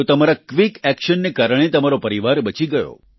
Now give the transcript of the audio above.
તો તમારા quick action ને કારણે તમારો પરિવાર બચી ગયો